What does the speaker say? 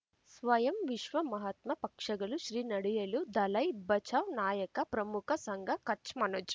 ಸ್ವಯಂ ವಿಶ್ವ ಮಹಾತ್ಮ ಪಕ್ಷಗಳು ಶ್ರೀ ನಡೆಯಲೂ ದಲೈ ಬಚೌ ನಾಯಕ ಪ್ರಮುಖ ಸಂಘ ಕಚ್ ಮನೋಜ್